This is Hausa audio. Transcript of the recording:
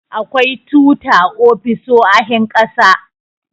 akwai tuta ofisoahin ƙasa